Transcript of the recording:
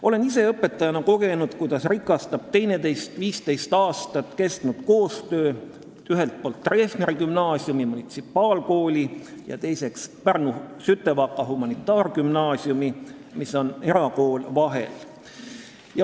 Olen ise õpetajana kogenud, kuidas on teineteist rikastanud 15 aastat kestnud Hugo Treffneri Gümnaasiumi, munitsipaalkooli, ja Pärnu Sütevaka Humanitaargümnaasiumi, erakooli koostöö.